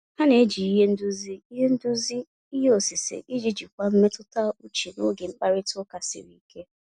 Ha na-eji ihe nduzi ihe nduzi ihe osise iji jikwaa mmetụta uche n'oge mkparịta ụka siri ike.